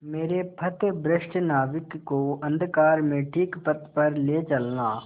मेरे पथभ्रष्ट नाविक को अंधकार में ठीक पथ पर ले चलना